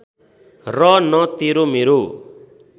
र न तेरो मेरो